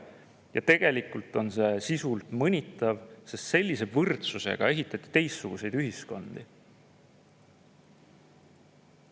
Ja tegelikult on see sisult mõnitav, sest sellise võrdsusega ehitati teistsuguseid ühiskondi.